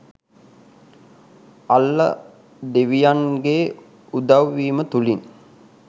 අල්ලා ‍දෙවියන් ගේ උදව්වීම තුලින්